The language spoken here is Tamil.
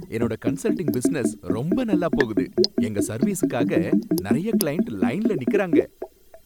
என்னோட கன்சல்டிங் பிஸினஸ் ரொம்ப நல்லா போகுது, எங்க சர்வீஸுக்காக நறைய கிளையன்ட் லைன்ல நிக்கறாங்க.